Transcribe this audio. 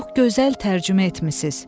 Çox gözəl tərcümə etmisiz.